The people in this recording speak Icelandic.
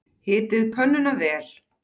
Hitið pönnuna vel.